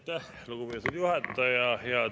Aitäh, lugupeetud juhataja!